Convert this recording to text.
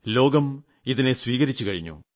ലോകം ഇതിനെ സ്വീകരിച്ചു കഴിഞ്ഞു